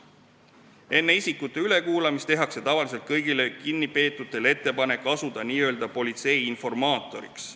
Enne isikute ülekuulamist tehakse tavaliselt kõigile kinnipeetutele ettepanek hakata n-ö politsei informaatoriks.